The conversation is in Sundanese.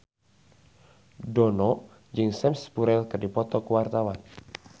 Dono jeung Sam Spruell keur dipoto ku wartawan